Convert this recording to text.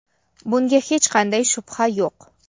Bunga hech qanday shubha yo‘q.